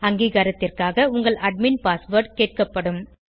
அங்கீகாரத்திற்காக உங்கள் admin password கேட்கப்படும்